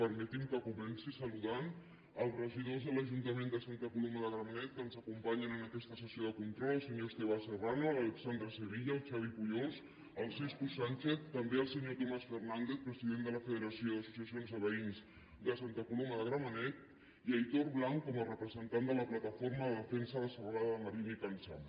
permetin que comenci saludant els regidors de l’ajuntament de santa coloma de gramenet que ens acompanyen en aquesta sessió de control el senyor esteve serrano l’alexandra sevilla el xavi pujols el siscu sánchez també el senyor tomàs fernández president de la federació d’associacions de veïns de santa coloma de gramenet i aitor blanc com a representant de la plataforma de defensa de la serralada de marina i can zam